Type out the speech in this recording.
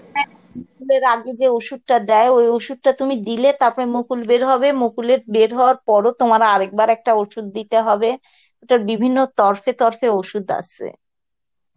হ্যাঁ মুকুলের আগে যে ওষুধটা দেয় ওই ওষুধ টা দিলে তারপরে মুকুল বের হবে মুকুলের বের হওয়ার পরও তোমার আরেকবার আরেকটা ওষুধ দিতে হবে এটার বিভিন্ন তরফে তরফে ওষুধ আছে